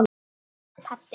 Pabbi hló.